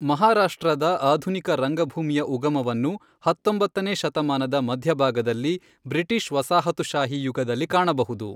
ಮಹಾರಾಷ್ಟ್ರದ ಆಧುನಿಕ ರಂಗಭೂಮಿಯ ಉಗಮವನ್ನು ಹತ್ತೊಂಬತ್ತನೇ ಶತಮಾನದ ಮಧ್ಯಭಾಗದಲ್ಲಿ ಬ್ರಿಟಿಷ್ ವಸಾಹತುಶಾಹಿ ಯುಗದಲ್ಲಿ ಕಾಣಬಹುದು.